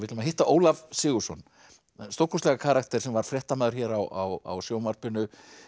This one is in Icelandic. að hitta Ólaf Sigurðsson stórkostlegan karakter sem var fréttamaður hér á sjónvarpinu